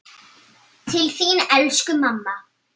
Til þín elsku mamma.